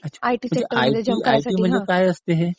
अच्छा. आयटी म्हणजे काय असते हे?